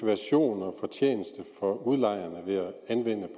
og fortjeneste for udlejerne ved at anvende